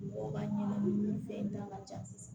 Mɔgɔ ka ɲɛnɛmini fɛn da ka ca